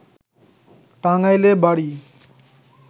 টাঙ্গাইলে বাড়ি